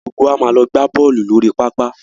Gbogbo wa máa lọ gbá bọ́ọ̀lù lórí pápá.